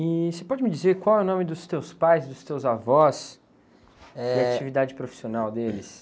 E você pode me dizer qual é o nome dos teus pais, dos teus avós?h... a atividade profissional deles.